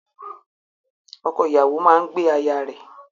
Ọkọ-ìyàwó máa ń gbé aya rẹ.